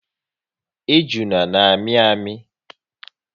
Ejuna na amị amị